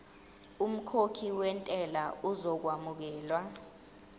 umkhokhi wentela uzokwamukelwa